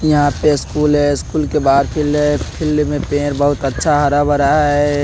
यहां पे स्कूल है स्कूल के बाहर फील्ड है फील्ड में पेड़ बहोत अच्छा हरा भरा है।